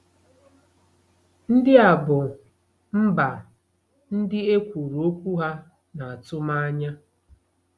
Ndị a bụ “mba” ndị e kwuru okwu ha n’atụmanya.